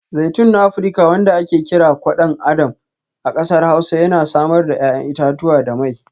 Zaitun na Afirka wanda ake kira Kwadon Adam a kasar Hausa yana samar da 'ya'yan itatuwa da mai.